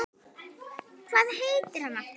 Hvað heitir hann aftur?